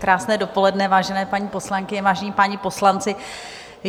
Krásné dopoledne, vážené paní poslankyně, vážení páni poslanci.